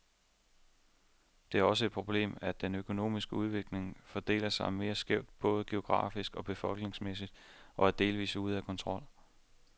Det er også et problemet, at den økonomiske udvikling fordeler sig meget skævt, både geografisk og befolkningsmæssigt, og er delvist ude af kontrol.